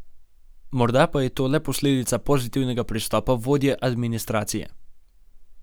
Morda pa je to le posledica pozitivnega pristopa vodje administracije.